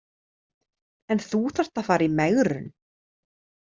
En þú þarft að fara í megrun.